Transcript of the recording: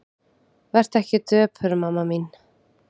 Vertu ekki döpur mamma mín.